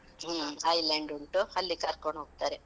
ಹ್ಮ್. Island ಉಂಟು. ಅಲ್ಲಿಗ್ ಕರ್ಕೋಂಡ್ ಹೋಗ್ತಾರೆ.